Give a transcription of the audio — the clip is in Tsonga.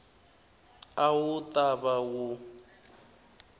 a wu ta va wu